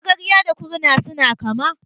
Magarya da Kurna suna kama.